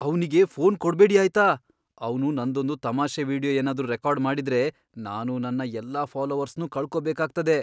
ಅವ್ನಿಗೆ ಫೋನ್ ಕೊಡ್ಬೇಡಿ ಆಯ್ತಾ! ಅವ್ನು ನನ್ದೊಂದು ತಮಾಷೆ ವೀಡಿಯೊ ಏನಾದ್ರೂ ರೆಕಾರ್ಡ್ ಮಾಡಿದ್ರೆ, ನಾನು ನನ್ನ ಎಲ್ಲಾ ಫಾಲೋವರ್ಸ್ನೂ ಕಳ್ಕೋಬೇಕಾಗ್ತದೆ!